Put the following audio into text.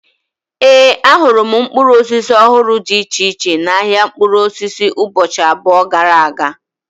Ee, ahụrụ m mkpụrụ osisi ọhụrụ dị iche iche n'ahia mkpụrụ osisi ụbọchị abụọ gara aga